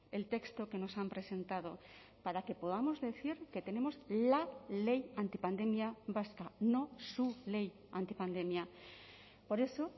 el texto que nos han presentado para que podamos decir que tenemos la ley antipandemia vasca no su ley antipandemia por eso